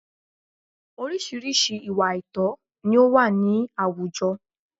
Orísìírísìí ìwà àìtọ̀ ni ó wà ní àwùjọ